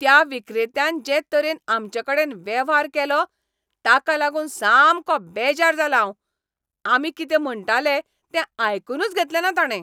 त्या विक्रेत्यान जे तरेन आमचेकडेन वेव्हार केलो ताका लागून सामकों बेजार जालां हांव. आमी कितें म्हणटाले तें आयकूनच घेतलेंना ताणें.